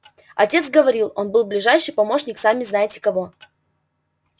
отец говорит он был ближайший помощник сами знаете кого